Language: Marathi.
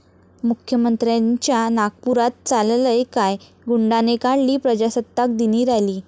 मुख्यमंत्र्यांच्या नागपुरात चाललंय काय?, गुंडाने काढली प्रजासत्ताक दिनी रॅली